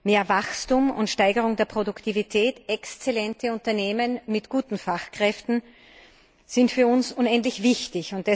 Mehr Wachstum und Steigerung der Produktivität und exzellente Unternehmen mit guten Fachkräften sind für uns unendlich wichtig.